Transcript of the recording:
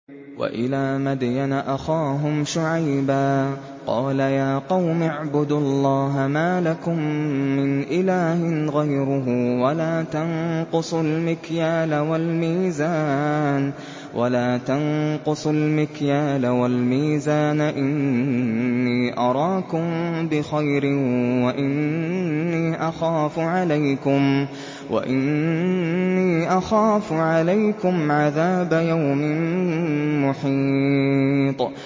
۞ وَإِلَىٰ مَدْيَنَ أَخَاهُمْ شُعَيْبًا ۚ قَالَ يَا قَوْمِ اعْبُدُوا اللَّهَ مَا لَكُم مِّنْ إِلَٰهٍ غَيْرُهُ ۖ وَلَا تَنقُصُوا الْمِكْيَالَ وَالْمِيزَانَ ۚ إِنِّي أَرَاكُم بِخَيْرٍ وَإِنِّي أَخَافُ عَلَيْكُمْ عَذَابَ يَوْمٍ مُّحِيطٍ